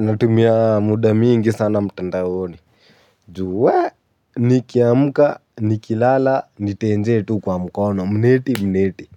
Natumia muda mingi sana mtandaoni. Ju, wee, nikiamka, nikilala, nitenje tu kwa mkono, mneti mneti.